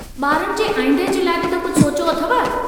बारनि जे आईंदह जे लाइ बि कुझु सोचियो अथव।